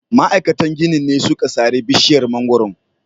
Ma'aikatan ginin ne suka sare bishiyar mangwaro.